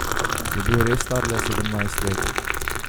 Je bil res star le sedemnajst let?